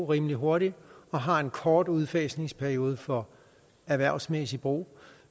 rimelig hurtigt og har en kort udfasningsperiode for erhvervsmæssig brug